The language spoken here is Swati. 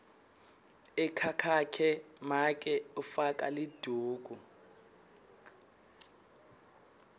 ekhakhakhe make ufaka liduku